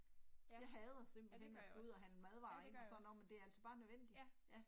Jeg hader simpelthen når jeg skal ud og handle madvarer ind og sådan noget men det er altså bare nødvendigt ja